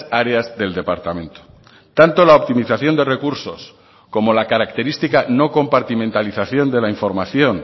áreas del departamento tanto la optimización de recursos como la característica no compartimentalización de la información